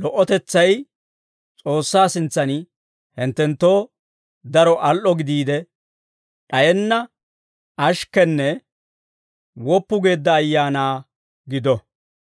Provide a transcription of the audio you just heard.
lo"otetsay S'oossaa sintsan hinttenttoo daro al"o gidiide, d'ayenna ashikkenne woppu geedda ayaanaa gido.